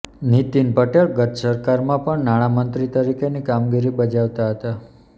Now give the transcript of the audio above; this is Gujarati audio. નીતિન પટેલ ગત સરકારમાં પણ નાણાં મંત્રી તરીકેની કામગીરી બજાવતા હતા